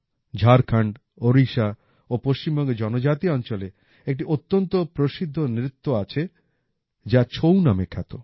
ঝাড়খন্ড ওডিশা ও পশ্চিমবঙ্গের জনজাতি অঞ্চলে একটি অত্যন্ত প্রসিদ্ধ নৃত্য আছে যা ছৌ নামে খ্যাত